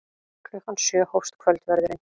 Klukkan sjö hófst kvöldverðurinn.